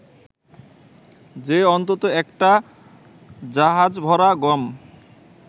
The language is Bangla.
যে অন্তত একটা জাহাজভরা গম